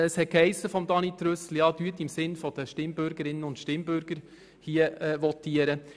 Trüssel hat ebenfalls gesagt, wir sollten hier im Sinne der Stimmbürgerinnen und Stimmbürger votieren.